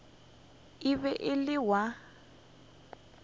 e be e le ya